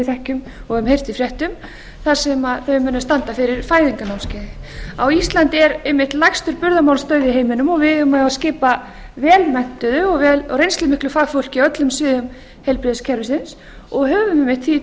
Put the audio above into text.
þekkjum og höfum heyrt í fréttum þar sem þau munu standa eftir fæðingarnámskeiði á íslandi er einmitt lægstur burðarmálsdauði í heiminum og við eigum á að skipa vel menntuðu og reynslumiklu fagfólki á öllum sviðum heilbrigðiskerfisins og höfum einmitt því